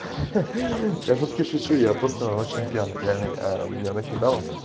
я шутки шучу я просто очень пьяный реальный меня накидало